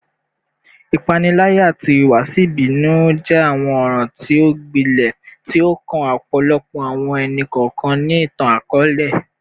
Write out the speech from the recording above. Ipanilaya ati ihuwasi ibinu jẹ awọn ọran ti o gbilẹ ti o kan ọpọlọpọ awọn ẹni-kọọkan ni itan-akọọlẹ